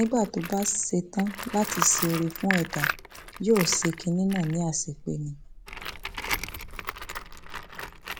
nígbà tó bá ṣe tán láti ṣe oore fún ẹdá yóò ṣe kinní náà ní àṣepé ni